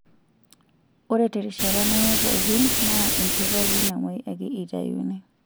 Ore terishata neme pookin, naa enchoto ake namoi ake eitayuni.